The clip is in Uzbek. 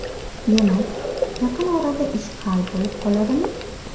Demak, yaqin orada ish hal bo‘lib qoladimi?